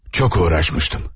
Çox uğraşmışdım.